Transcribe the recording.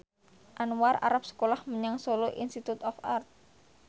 Anwar arep sekolah menyang Solo Institute of Art